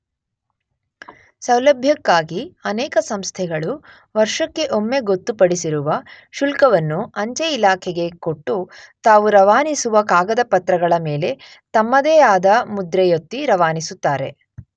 ಸೌಲಭ್ಯಕ್ಕಾಗಿ ಅನೇಕ ಸಂಸ್ಥೆಗಳು ವರ್ಷಕ್ಕೆ ಒಮ್ಮೆ ಗೊತ್ತುಪಡಿಸಿರುವ ಶುಲ್ಕವನ್ನು ಅಂಚೆ ಇಲಾಖೆಗೆ ಕೊಟ್ಟು ತಾವು ರವಾನಿಸುವ ಕಾಗದಪತ್ರಗಳ ಮೇಲೆ ತಮ್ಮದೇ ಆದ ಮುದ್ರೆಯೊತ್ತಿ ರವಾನಿಸುತ್ತಾರೆ.